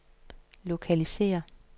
lokalisér